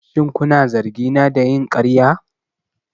Shin kuna zargina da yin ƙarya?